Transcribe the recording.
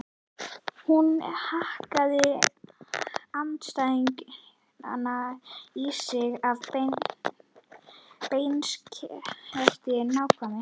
Hún hakkaði andstæðingana í sig af beinskeyttri nákvæmni.